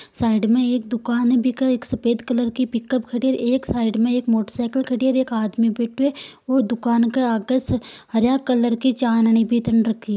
साइड में एक दुकान एक सफेद कलर की पिकप खड़ी हैं एक साइड एक मोटरसायकल खड़ी हैं एक आदमी बैठो हैं दुकाने के आगे हरे कलर की भी तन रखी है।